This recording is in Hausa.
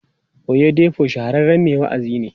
Oyedepo shahararren mai wa'azi ne.